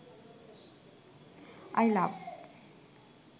i love